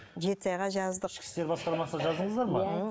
жетісайға жаздық ішкі істер басқармасына жаздыңыздар ма